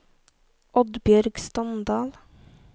Oddbjørg Standal